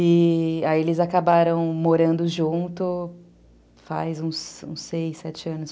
E aí eles acabaram morando junto faz uns seis, sete anos.